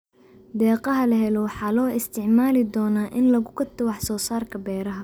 Deeqaha la helo waxaa loo isticmaali doonaa in lagu gato wax soo saarka beeraha.